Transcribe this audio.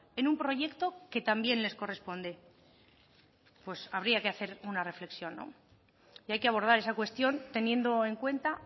en un proyecto que también les corresponde pues habría que hacer una reflexión no y hay que abordar esa cuestión teniendo en cuenta